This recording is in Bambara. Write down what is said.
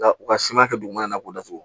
Nka u ka siman kɛ dugumana na k'o datugu